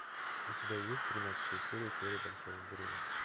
у тебя есть тринадцатая серия теория большого взрыва